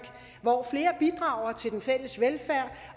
hvor flere bidrager til den fælles velfærd